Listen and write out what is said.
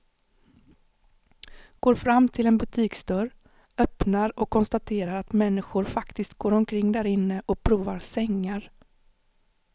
Går fram till en butiksdörr, öppnar och konstaterar att människor faktiskt går omkring därinne och provar sängar.